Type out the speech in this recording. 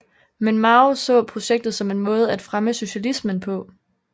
Men Mao så projektet som en måde at fremme socialismen på